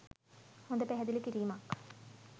හොඳ පැහැදිලි කිරීමක්.